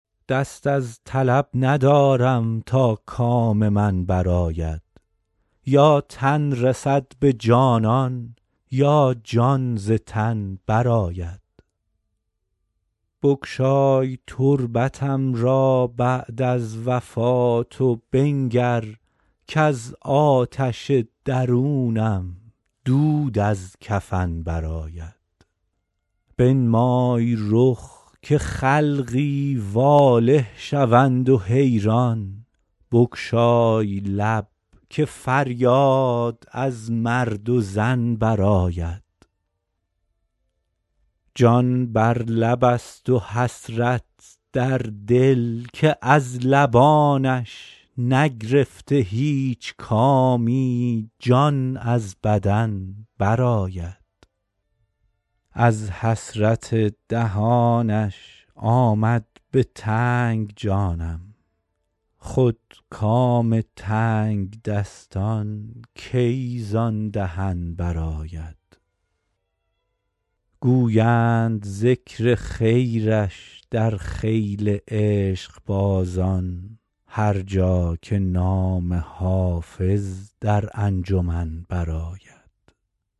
دست از طلب ندارم تا کام من برآید یا تن رسد به جانان یا جان ز تن برآید بگشای تربتم را بعد از وفات و بنگر کز آتش درونم دود از کفن برآید بنمای رخ که خلقی واله شوند و حیران بگشای لب که فریاد از مرد و زن برآید جان بر لب است و حسرت در دل که از لبانش نگرفته هیچ کامی جان از بدن برآید از حسرت دهانش آمد به تنگ جانم خود کام تنگدستان کی زان دهن برآید گویند ذکر خیرش در خیل عشقبازان هر جا که نام حافظ در انجمن برآید